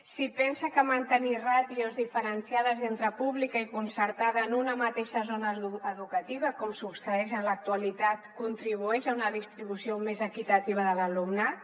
si pensa que mantenir ràtios diferenciades entre pública i concertada en una mateixa zona educativa com succeeix en l’actualitat contribueix a una distribució més equitativa de l’alumnat